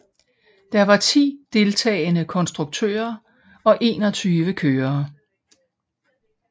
Der var ti deltagende konstruktører og enogtyve kørere